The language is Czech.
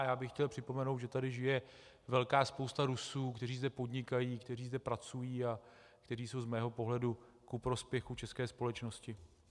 A já bych chtěl připomenout, že tady žije velká spousta Rusů, kteří zde podnikají, kteří zde pracují a kteří jsou z mého pohledu ku prospěchu české společnosti.